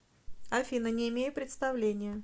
афина не имею представления